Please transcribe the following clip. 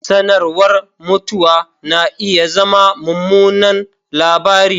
Sanarwar mutuwa na iya zama mummunan labari